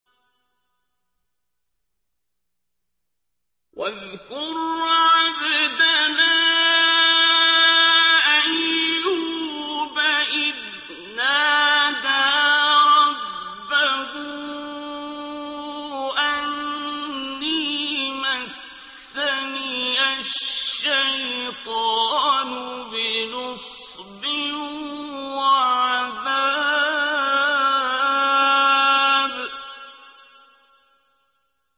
وَاذْكُرْ عَبْدَنَا أَيُّوبَ إِذْ نَادَىٰ رَبَّهُ أَنِّي مَسَّنِيَ الشَّيْطَانُ بِنُصْبٍ وَعَذَابٍ